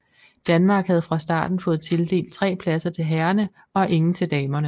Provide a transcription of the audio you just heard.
Danmark havde fra starten fået tildelt tre pladser til herrerne og ingen til damerne